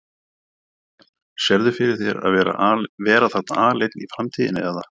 Kristján: Sérðu fyrir þér að vera þarna aleinn í framtíðinni eða?